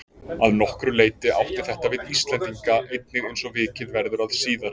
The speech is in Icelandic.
Að nokkru leyti átti þetta við Íslendinga einnig eins og vikið verður að síðar.